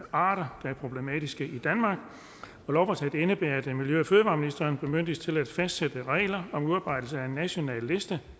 arter der er problematiske i danmark og lovforslaget indebærer at miljø og fødevareministeren bemyndiges til at fastsætte regler om udarbejdelse af en national liste